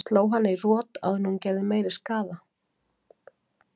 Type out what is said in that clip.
Ég sló hana í rot áður en hún gerði meiri skaða.